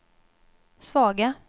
svaga